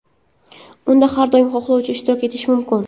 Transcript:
Unda har qanday xohlovchi ishtirok etishi mumkin.